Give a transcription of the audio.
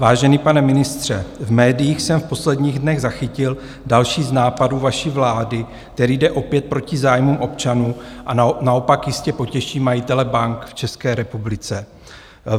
Vážený pane ministře, v médiích jsem v posledních dnech zachytil další z nápadů vaší vlády, který jde opět proti zájmům občanů a naopak jistě potěší majitele bank v České republice.